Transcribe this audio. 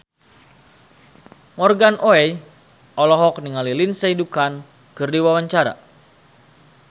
Morgan Oey olohok ningali Lindsay Ducan keur diwawancara